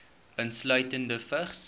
insluitende vigs